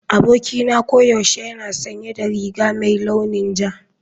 Abokina koyaushe yana sanye da riga mai launin ja.